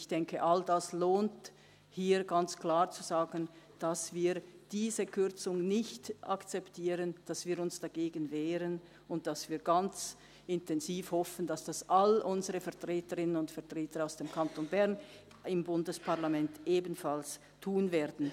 Ich denke, all dies lohnt, hier ganz klar zu sagen, dass wir diese Kürzung nicht akzeptieren, dass wir uns dagegen wehren, und dass wir ganz intensiv hoffen, dass all unsere Vertreterinnen und Vertreter aus dem Kanton Bern im Bundesparlament dies ebenfalls tun werden.